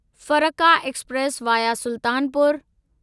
Farakka express via Sultanpur